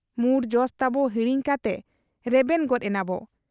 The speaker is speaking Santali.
ᱢᱩᱬ ᱡᱚᱥ ᱛᱟᱵᱚ ᱦᱤᱲᱤᱧ ᱠᱟᱛᱮ ᱨᱮᱵᱮᱱ ᱜᱚᱫ ᱮᱱᱟᱵᱚ ᱾